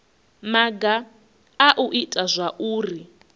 maga a u ita zwauri